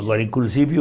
Agora, inclusive o...